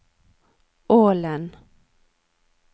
Ålen